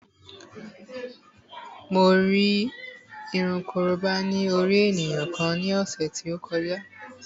Mo rí irun korobá ní orí ènìyàn kan ní ọ̀sẹ̀ tí ó kọjá